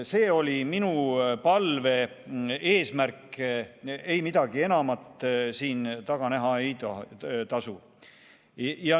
See oli minu palve eesmärk, midagi enamat siin taga näha ei tasu.